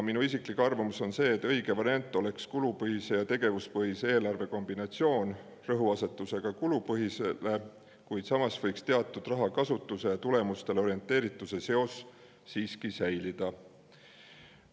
Minu isiklik arvamus on see, et õige variant oleks kulupõhise ja tegevuspõhise eelarve kombinatsioon, rõhuasetusega kulupõhisele, kuid samas võiks teatud rahakasutuse tulemustele orienteerituse seos siiski säilida.